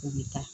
U bɛ taa